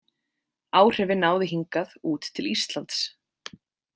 Áhrifin náðu hingað út til Íslands.